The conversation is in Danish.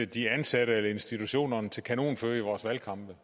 de ansatte eller institutionerne til kanonføde i vores valgkampe